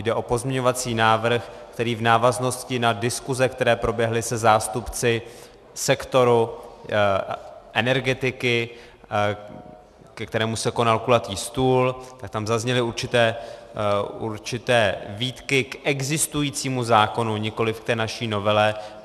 Jde o pozměňovací návrh, který v návaznosti na diskuze, které proběhly se zástupci sektoru energetiky, ke kterému se konal kulatý stůl, tak tam zazněly určité výtky k existujícímu zákonu, nikoliv k té naší novele.